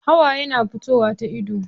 Hawaye na fitowa ta ido.